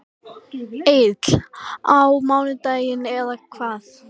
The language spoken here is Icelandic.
Egill: Á mánudaginn eða hvað?